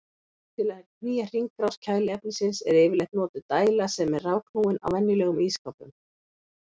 Til að knýja hringrás kæliefnisins er yfirleitt notuð dæla sem er rafknúin á venjulegum ísskápum.